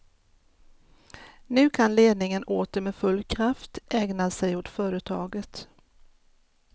Nu kan ledningen åter med full kraft ägna sig åt företaget.